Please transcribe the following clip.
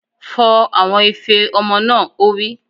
Fọ àwọn ife ọmọ náà! Ó wí.